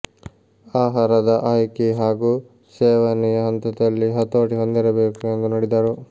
ಆಹಾರದ ಆಯ್ಕೆ ಹಾಗೂ ಸೇವನೆಯ ಹಂತದಲ್ಲಿ ಹತೋಟಿ ಹೊಂದಿರಬೇಕು ಎಂದು ನುಡಿದರು